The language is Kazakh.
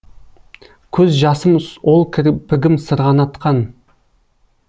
көз жасым ол кірпігім сырғанатқан